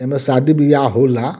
इ में शादी बियाह होला।